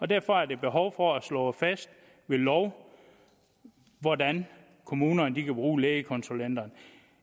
derfor er der behov for at få slået fast ved lov hvordan kommunerne kan bruge lægekonsulenterne